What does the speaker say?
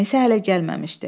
Ənisə hələ gəlməmişdi.